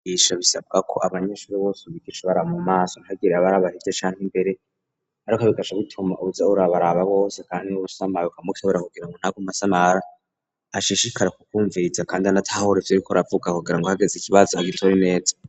Abigisha basabwa ko abanyeshuri bose abigisha abaraba mu maso ntagire abaraba hirya canke imbere ariko bigaca bituma uza urabaraba bose kandi n'uwusamaye ukamukebura kugira ngo ntakomeze asamara ashishikare kumvuriza kandi anatahure ivyo ariko aravuga wagira ngo hageze ikibazo agitore neza